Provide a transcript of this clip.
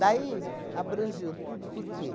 Daí abrangeu tudo, por quê?